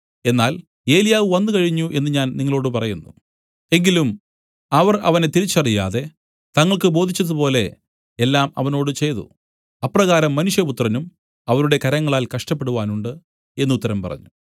എന്നാൽ ഏലിയാവ് വന്നുകഴിഞ്ഞു എന്നു ഞാൻ നിങ്ങളോടു പറയുന്നു എങ്കിലും അവർ അവനെ തിരിച്ചറിയാതെ തങ്ങൾക്കു ബോധിച്ചതുപോലെ എല്ലാം അവനോട് ചെയ്തു അപ്രകാരം മനുഷ്യപുത്രനും അവരുടെ കരങ്ങളാൽ കഷ്ടപ്പെടുവാനുണ്ട് എന്നു ഉത്തരം പറഞ്ഞു